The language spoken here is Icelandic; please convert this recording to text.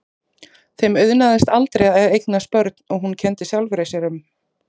Þeim auðnaðist aldrei að eignast börn og hún kenndi sjálfri sér um.